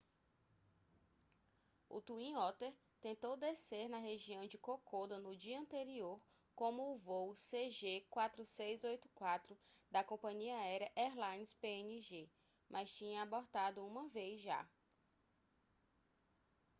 o twin otter tentou descer na região de kokoda no dia anterior como o voo cg4684 da compania aérea airlines png mas tinha abortado uma vez já